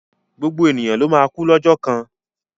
Gbogbo ènìyàn ló máa kú lọ́jọ́ kan.